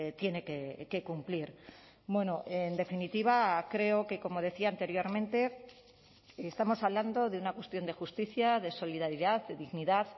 tiene que cumplir bueno en definitiva creo que como decía anteriormente estamos hablando de una cuestión de justicia de solidaridad de dignidad